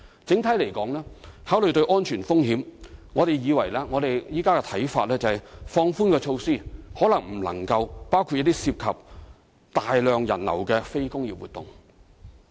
整體而言，考慮到安全風險，我們現時的看法是，放寬措施或許未能包括涉及大量人流的非工業活動。